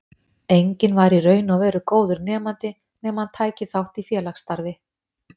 Enginn var í raun og veru góður nemandi nema hann tæki þátt í félagsstarfi.